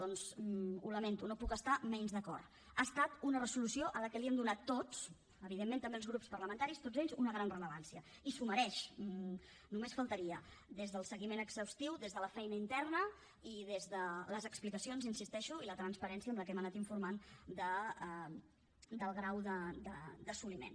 doncs ho lamento no hi puc estar menys d’acord ha estat una resolució a la que li hem donat tots evidentment també els grups parlamentaris tots ells una gran rellevància i s’ho mereix només faltaria des del seguiment exhaustiu des de la feina interna i des de les explicacions hi insisteixo i la transparència amb la que hem anat informant del grau d’assoliment